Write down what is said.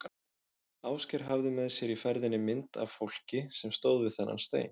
Ásgeir hafði með sér í ferðinni mynd af fólki sem stóð við þennan stein.